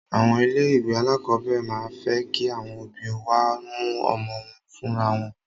Àwọn ilé ìwé alákọ̀berẹ̀ máà ń fẹ́ kí àwọn òbí wá mú ọmọ wọn fúnra wọn.